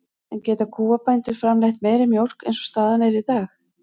En geta kúabændur framleitt meiri mjólk eins og staðan er í dag?